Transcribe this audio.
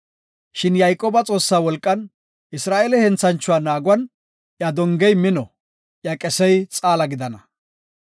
Shin Yayqooba Xoossa wolqan, Isra7eele henthanchuwa naaguwan, iya dongey mino, iya qesey xaala gidana.